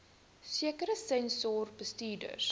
sekere senior bestuurders